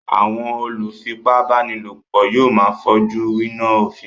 Àwọn olùfipábánilòpọ̀ yóò máa fojú winá òfin.